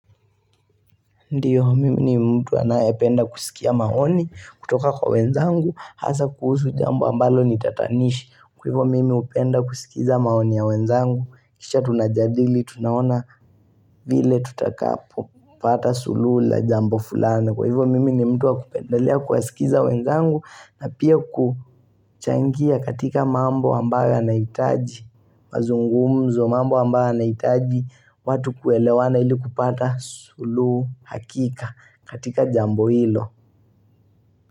Ndiyo, mimi ni mtu anayapenda kusikia maoni, kutoka kwa wenzangu, hasa kuhusu jambo ambalo nitatanishi, kwa hivyo mimi hupenda kusikiza maoni ya wenzangu, kisha tunajadili, tunaona vile tutakapo, pata suluhu jambo fulana. Kwa hivyo mimi ni mtu wa kupendelea kuwasikiza wenzangu na pia kuchangia katika mambo ambayo yanahitaji mazungumzo mambo ambayo yanahitaji watu kuelewana ili kupata suluhu hakika katika jambo hilo.